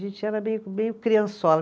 A gente era meio meio criançola.